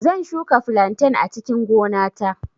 Zan shuka flantain a cikin gona ta